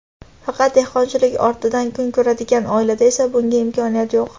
Faqat dehqonchilik ortidan kun ko‘radigan oilada esa bunga imkoniyat yo‘q.